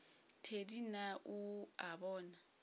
thedi na o a bona